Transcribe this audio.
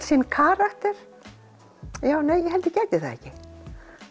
sinn karakter ég held ég gæti það ekki